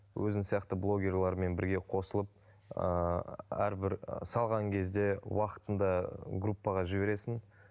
өзің сияқты блогерлермен бірге қосылып ыыы әрбір салған кезде уақытында группаға жібересің